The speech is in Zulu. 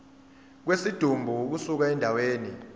kwesidumbu ukusuka endaweni